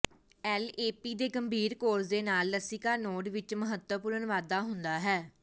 LAP ਦੇ ਗੰਭੀਰ course ਦੇ ਨਾਲ ਲਸਿਕਾ ਨੋਡ ਵਿੱਚ ਮਹੱਤਵਪੂਰਨ ਵਾਧਾ ਹੁੰਦਾ ਹੈ